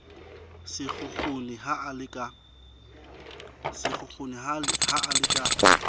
sekgukguni ha a le ka